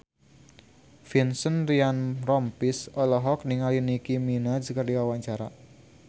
Vincent Ryan Rompies olohok ningali Nicky Minaj keur diwawancara